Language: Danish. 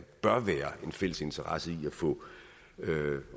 bør være en fælles interesse i at få